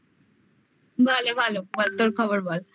ভালো ভালো বল তোর খবর বল?